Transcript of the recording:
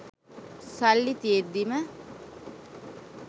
සල්ලි තියෙද්දිම